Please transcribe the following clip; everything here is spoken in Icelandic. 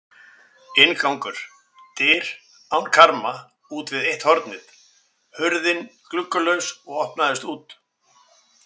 Inngangur: dyr án karma útvið eitt hornið, hurðin gluggalaus og opnaðist út.